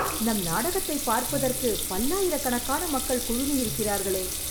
நம் நாடகத்தைப் பார்ப்பதற்கு பல்லாயிரக்கணக்கான மக்கள் குழுமி இருக்கிறார்களே